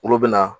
Olu bɛ na